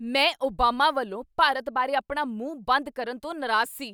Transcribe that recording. ਮੈਂ ਓਬਾਮਾ ਵੱਲੋਂ ਭਾਰਤ ਬਾਰੇ ਆਪਣਾ ਮੂੰਹ ਬੰਦ ਕਰਨ ਤੋਂ ਨਰਾਜ਼ ਸੀ।